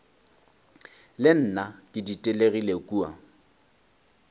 le nna ke ditelegile kua